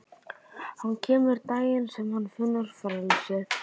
Hann kemur daginn sem hann finnur frelsið.